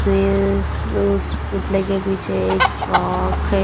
Miss उस पुतले के पीछे एक फ्रॉक है।